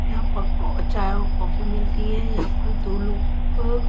यहाँ पक्कों अ चाय और कॉफी मिलती है यहाँ पर दो लोग --